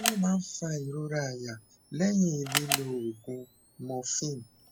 kí ló máa ń fa ìrora àyà lẹyìn lílo oògùn morphine